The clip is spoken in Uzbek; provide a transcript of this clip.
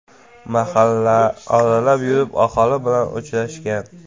Mahalla oralab yurib, aholi bilan uchrashgan.